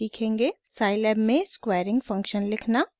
* scilab में squaring function लिखना